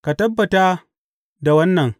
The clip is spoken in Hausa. Ka tabbata da wannan.